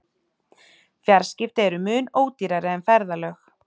Fjarskipti eru mun ódýrari en ferðalög.